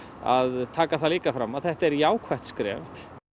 að taka það líka fram að þetta er jákvætt skref og